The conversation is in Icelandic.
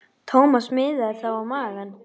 Thomas miðaði þá á magann.